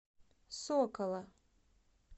сокола